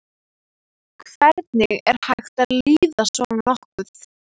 Hvernig er hægt að líða svona nokkuð?